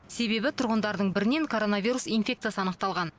себебі тұрғындардың бірінен коронавирус инфекциясы анықталған